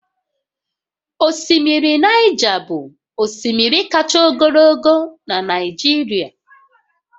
Osimiri Naịja bụ osimiri kacha ogologo na Nijirịa